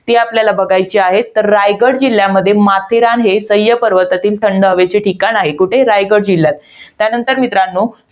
ते आपल्याला बघायची आहेत. तर रायगड जिल्ह्यामध्ये माथेरान हे सह्य पर्वतातील थंड हवेचे ठिकाण आहे. कुठे रायगड जिल्ह्यात. त्यानंतर मित्रांनो